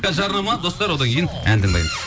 қазір жарнама достар одан кейін ән